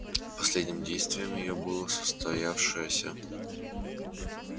последним действием её было состоявшееся